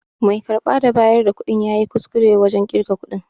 Mai karba da bayar da kuɗin yayi kuskure wajen ƙirga kuɗin.